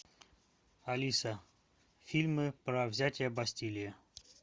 алиса фильмы про взятие бастилии